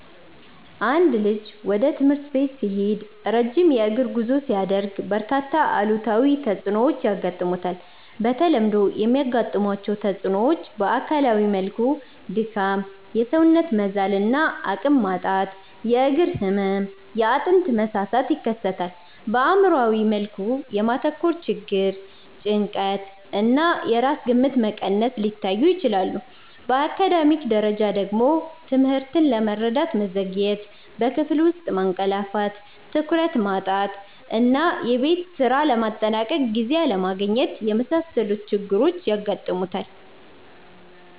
አንድ ልጅ ወደ ትምህርት ቤት ሲሄድ ረጅም የእግር ጉዞ ሲያደርግ፣ በርካታ አሉታዊ ተጽዕኖዎች ያጋጥሙታል። በተለምዶ የሚያጋጥሟቸው ተጽዕኖዎች በአካላዊ መልኩ ድካም፣ የሰውነት መዛል እና አቅም ማጣት፣ የእግር ህመም፣ የአጥንት መሳሳት ይከሰታል። በአእምሯዊ መልኩ የማተኮር ችግር፣ ጭንቀት እና የራስ ግምት መቀነስ ሊታዩ ይችላሉ። በአካዳሚክ ደረጃ ደግሞ ትምህርትን ለመረዳት መዘግየት፣ በክፍል ውስጥ ማንቀላፋት፣ ትኩረት ማጣት እና የቤት ስራ ለማጠናቀቅ ጊዜ አለማግኘት የመሳሰሉ ችግሮች ያጋጥሙታል።